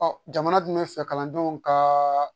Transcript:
Ɔ jamana dun bɛ fɛ kalandenw ka